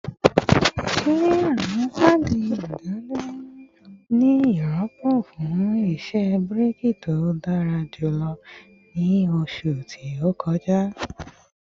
Ṣe awọn paadi idaduro ni rọpo fun iṣẹ braking to dara julọ ni oṣu to kọja?